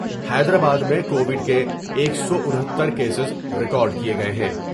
حیدرآباد میں covid کے ایک سو انہتر کیسز ریکارڈ کئے گئے ہیں ۔